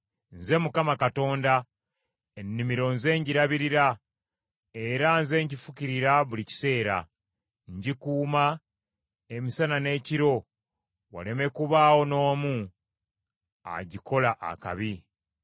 Nze Mukama Katonda, ennimiro nze ngirabirira era nze ngifukirira buli kiseera. Ngikuuma emisana n’ekiro Waleme kubaawo n’omu agikola akabi.